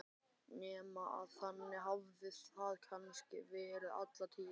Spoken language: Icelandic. Nema að þannig hafi það kannski verið alla tíð.